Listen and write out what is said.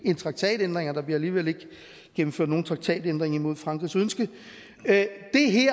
en traktatændring og der bliver alligevel ikke gennemført nogen traktatændring imod frankrigs ønske at